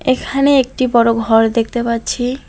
এখানে একটি বড়ো ঘর দেখতে পাচ্ছি।